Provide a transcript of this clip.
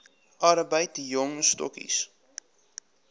arbeid jong stokkies